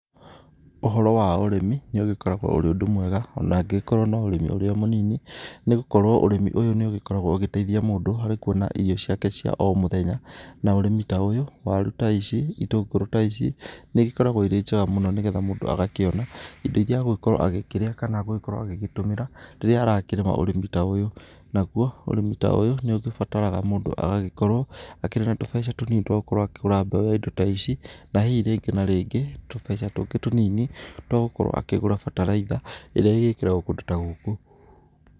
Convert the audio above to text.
Ũhoro wa ũrĩmi nĩ ũgĩkoragwo ũrĩ ũndũ mwega ona angĩgĩkorwo ona no ũrĩmi ũrĩa mũnini nĩgũkorwo ũrĩmi ũyũ nĩ ũgĩkoragwo ũgĩteithia mũndũ harĩ kũona irio ciake cia o mũthenya ,na ũrĩmi ta ũyũ warũ ta ici ,itũngũrũ ta ici nĩigĩkoragwo ĩrĩ njega mũno ngetha mũndũ agakĩona indo irĩa agũkorwo agĩkĩria kana agũgĩkorwo agĩtũmĩra rĩrĩa arakĩrĩma ũrĩmi ta ũyũ ,nagũo ũrĩmi ta ũyũ nĩ ũgĩbataraga mũndũ agagĩkorwo akĩrĩ na tũbeca tũnini twa gũkorwo akĩgũra mbeũ ya indo ta ici ,na hihi rĩngĩ na rĩngĩ tũmbeca tũngĩ tũnini twa gũkorwo akĩgũra mbataraitha ĩrĩa ĩgĩkĩragwo kũndũ ta gũkũ.